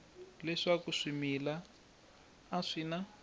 leswaku swimila a swi na